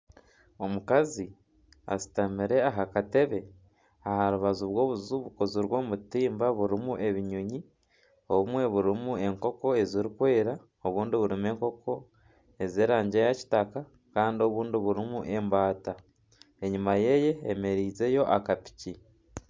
Omukazi ashutamire aha katebe aharubaju rw'obuju bukozirwe omu butimba burimu ebinyonyi. Obumwe burimu enkoko eziri kwera, obundi burimu enkoko z'erangi eya kitaka Kandi obundi burimu embaata. Enyima yeye hemerizeyo aka piki.